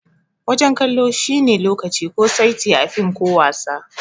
Wajen kallo shi ne lokaci ko saiti a fim ko wasa.